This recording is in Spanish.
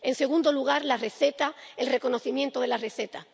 En segundo lugar, la receta, el reconocimiento de la receta.